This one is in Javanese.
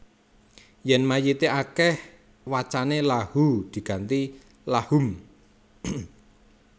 Yèn mayité akèh wacané Lahuu diganti Lahum